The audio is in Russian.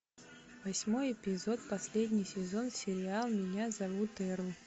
восьмой эпизод последний сезон сериал меня зовут эрл